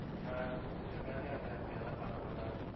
ஆஹ் கொஞ்சம் வேலையா இருந்தேன் ரம்யா. அதான் பண்ண முடியல.